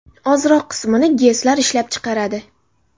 Ozroq qismini GESlar ishlab chiqaradi.